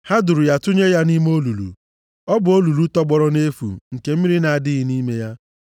Ha duru ya tụnye ya nʼime olulu. Ọ bụ olulu tọgbọrọ nʼefu, nke mmiri na-adịghị nʼime ya.